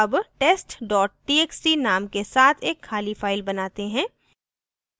अब test txt name के साथ एक खाली file बनाते हैं